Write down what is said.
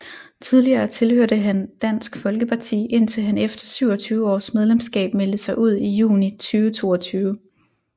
Tidligere tilhørte han Dansk Folkeparti indtil han efter 27 års medlemskab meldte sig ud i juni 2022